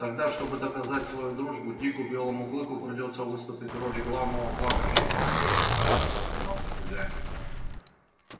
тогда чтобы доказать свою дружбу дику белому клыку придётся выступить в роли главного плакальщика на её похоронах засмеялся хозяин